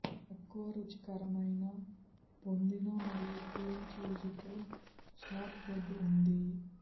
తక్కువ రుచికరమైన పొందిన మరియు క్రీమ్ చీజ్ తో షార్ట్బ్రెడ్ ఉంది